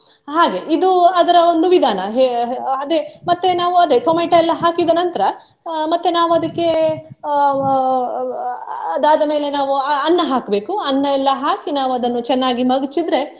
ಹಾಗೆ ಇದು ಅದರ ಒಂದು ವಿಧಾನ ಹಾ~ ಅಹ್ ಅದೇ ಮತ್ತೆ ನಾವು ಅದೇ ಟೊಮೊಟೊ ಎಲ್ಲಾ ಹಾಕಿದ ನಂತರ ಅಹ್ ಮತ್ತೆ ನಾವು ಅದಕ್ಕೆ ಅಹ್ ಅಹ್ ಅಹ್ ಅದಾದ ಮೇಲೆ ನಾವು ಅಹ್ ಅನ್ನ ಹಾಕ್ಬೇಕು ಅನ್ನ ಎಲ್ಲಾ ಹಾಕಿ ನಾವು ಅದನ್ನು ಚೆನ್ನಾಗಿ ಮಗಚಿದ್ರೆ.